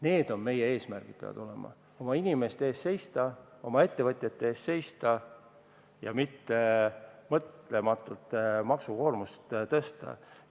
Need on meie eesmärgid: oma inimeste eest seista, oma ettevõtjate eest seista ja mitte mõtlematult maksukoormust tõsta.